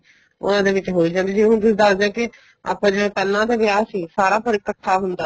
ਉਹਨਾ ਦੇ ਵਿੱਚ ਖੁੱਲ ਜਾਂਦੀ ਹੁਣ ਤੁਸੀਂ ਦਸਦੇ ਓ ਕੀ ਆਪਾਂ ਜਿਵੇਂ ਪਹਿਲਾਂ ਤਾਂ ਵਿਆਹ ਸੀ ਸਾਰਾ ਘਰ ਇੱਕਠਾ ਹੁੰਦਾ